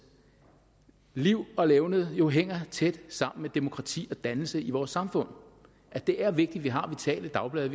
liv og levned jo hænger tæt sammen med demokrati og dannelse i vores samfund og at det er vigtigt at vi har vitale dagblade